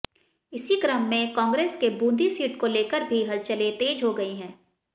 इसी क्रम मे कांग्रेस के बून्दी सीट को लेकर भी हलचलें तेज हो गई हैं